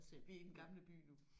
Vi er i Den Gamle By nu